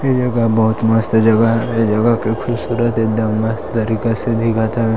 ये जगह बहुत मस्त जगह हरे ये जगह के खूबसूरत एकदम मस्त तरीका से दिखत ह--